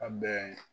A bɛn